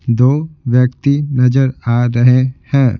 दो व्यक्ति नजर आ रहे है।